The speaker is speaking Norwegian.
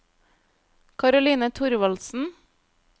Karoline Thorvaldsen